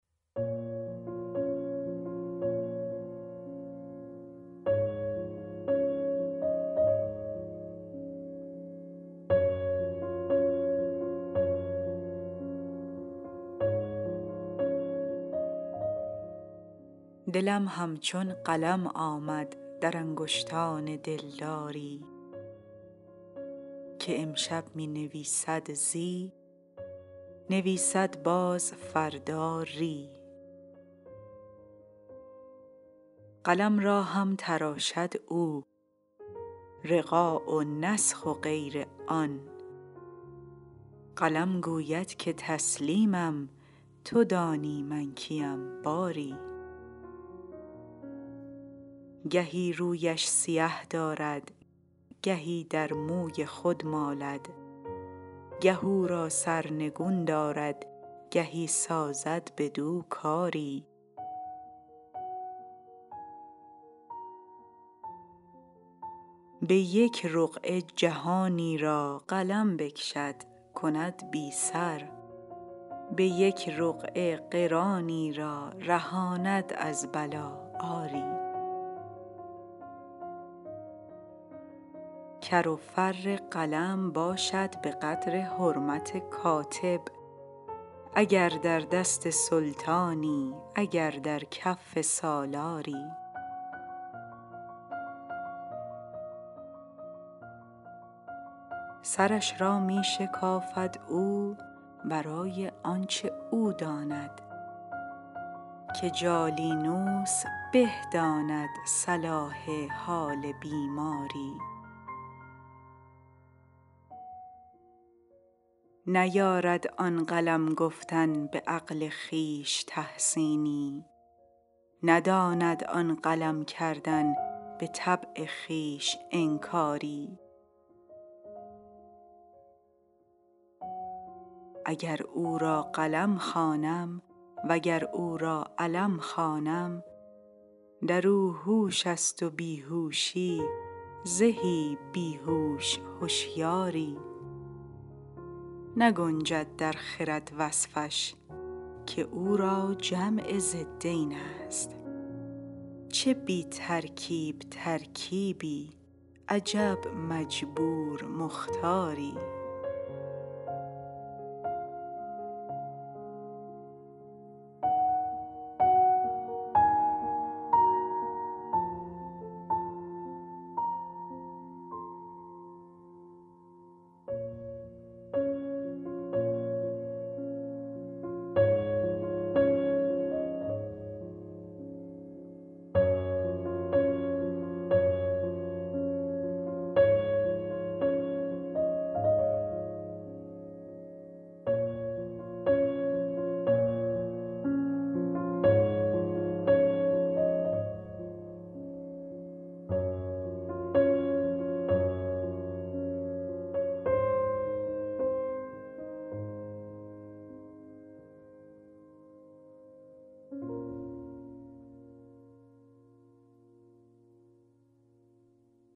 دلم همچون قلم آمد در انگشتان دلداری که امشب می نویسد زی نویسد باز فردا ری قلم را هم تراشد او رقاع و نسخ و غیر آن قلم گوید که تسلیمم تو دانی من کیم باری گهی رویش سیه دارد گهی در موی خود مالد گه او را سرنگون دارد گهی سازد بدو کاری به یک رقعه جهانی را قلم بکشد کند بی سر به یک رقعه قرانی را رهاند از بلا آری کر و فر قلم باشد به قدر حرمت کاتب اگر در دست سلطانی اگر در کف سالاری سرش را می شکافد او برای آنچ او داند که جالینوس به داند صلاح حال بیماری نیارد آن قلم گفتن به عقل خویش تحسینی نداند آن قلم کردن به طبع خویش انکاری اگر او را قلم خوانم و اگر او را علم خوانم در او هوش است و بی هوشی زهی بی هوش هشیاری نگنجد در خرد وصفش که او را جمع ضدین است چه بی ترکیب ترکیبی عجب مجبور مختاری